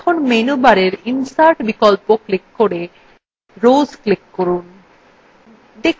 এখন menu bar insert বিকল্প click করে rows click করুন